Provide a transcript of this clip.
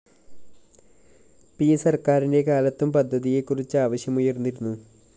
P സര്‍ക്കാരിന്റെ കാലത്തും പദ്ധതിയെ കുറിച്ച് ആവശ്യമുയര്‍ന്നിരുന്നു